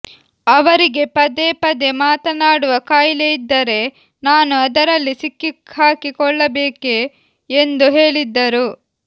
ಅವರಿಗೆ ಪದೇ ಪದೇ ಮಾತನಾಡುವ ಕಾಯಿಲೆಯಿದ್ದರೆ ನಾನು ಅದರಲ್ಲಿ ಸಿಕ್ಕಿಹಾಕಿಕೊಳ್ಳಬೇಕೇ ಎಂದು ಹೇಳಿದ್ದರು